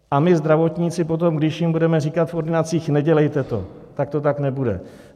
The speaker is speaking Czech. A my zdravotníci potom když jim budeme říkat v ordinacích: Nedělejte to, tak to tak nebude.